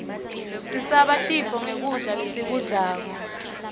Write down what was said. sisabe tifo nqgkudla lesikublako